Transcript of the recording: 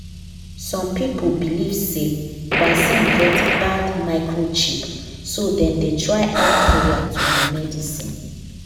some people believe say vaccine get bad microchip so dem dey try add prayer to the medicine.